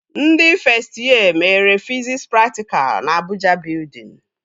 Ndị fest yee mere fiziks praktikalụ na Abụja Bịudịn